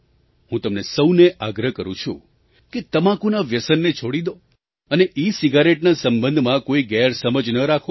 હું તમને સહુને આગ્રહ કરું છું કે તમાકુના વ્યસનને છોડી દો અને ઇસિગારેટના સંબંધમાં કોઈ ગેરસમજ ન રાખો